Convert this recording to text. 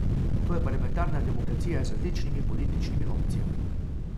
To je parlamentarna demokracija z različnimi političnimi opcijami.